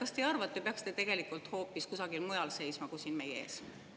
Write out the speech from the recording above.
Kas te ei arva, et te peaksite tegelikult hoopis kusagil mujal seisma kui siin meie ees?